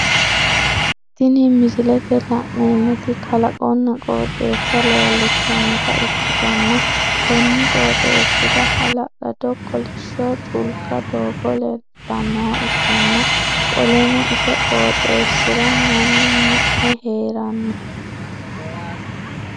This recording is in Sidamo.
Tinni misilete la'neemoti kalaqonna qooxeessa leelishanota ikitanna konni qooxeesira halallado kolisho culka doogo leelitanoha ikanna qoleno ise qooxeesira Manu mi'ne heerano.